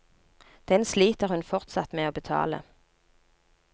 Den sliter hun fortsatt med å betale.